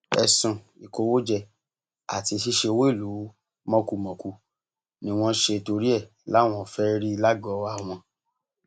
ẹsùn ìkówójẹ àti ṣíṣe owó ìlú mọkùmọkù ni wọn ṣe torí ẹ láwọn fẹẹ rí lágọọ àwọn